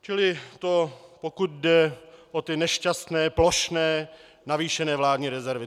Čili to pokud jde o ty nešťastné plošné navýšené vládní rezervy.